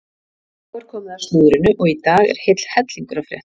Þá er komið að slúðrinu og í dag er heill hellingur að frétta.